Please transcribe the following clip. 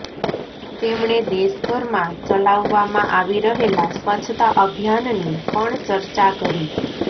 તેમણે દેશભરમાં ચલાવવામાં આવી રહેલા સ્વચ્છતા અભિયાનની પણ ચર્ચા કરી